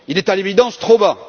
Il est à l'évidence trop bas.